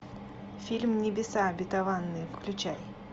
фильм небеса обетованные включай